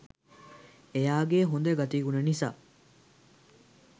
එයාගේ හොඳ ගතිගුණ නිසා